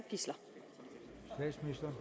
nej